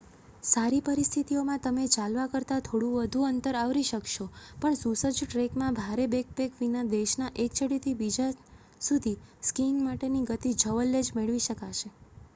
સારી પરિસ્થિતિઓમાં તમે ચાલવા કરતાં થોડું વધુ અંતર આવરી શકશો પણ સુસજ્જ ટ્રૅકમાં ભારે બૅકપૅક વિના દેશના એક છેડેથી બીજા સુધી સ્કીઇંગ માટેની ગતિ જવલ્લે જ મેળવી શકશો